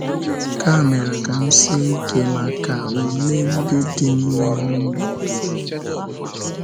Nke a mere ka m sie ike maka ule ndị dị n’ihu m ozugbo.